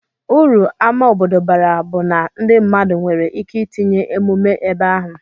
Uru ama obodo bara bu na ndi mmadu nwere ike itinye emume ebeahu.